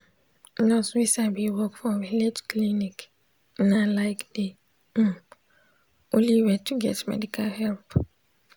hmm nurse wey sabi work for village clinic na like de um only way to get medical help.